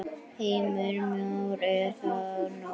Heimir Már: Er það nóg?